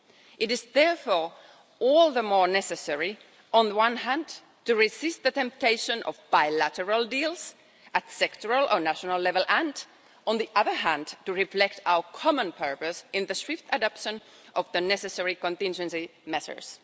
It is therefore all the more necessary, on the one hand, to resist the temptation of bilateral deals at sectoral or national level and, on the other hand, to reflect our common purpose in the swift adoption of the necessary contingency measures.